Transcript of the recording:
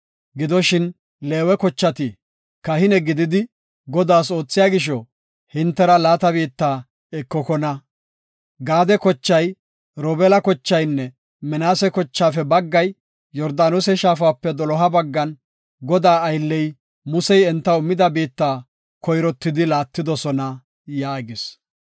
Gidoshin, Leewe kochati kahine gididi, Godaas oothiya gisho, hintera laata biitta ekokona. Gaade kochay, Robeela kochaynne, Minaase kochaafe baggay Yordaanose shaafape doloha baggan, Godaa aylley, Musey entaw immida biitta koyrottidi laatidosona” yaagis.